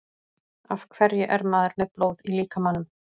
af hverju er maður með blóð í líkamanum